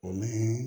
O min